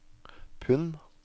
pund